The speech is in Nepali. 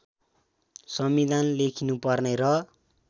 संविधान लेखिनुपर्ने र